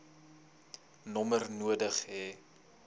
nommer nodig hê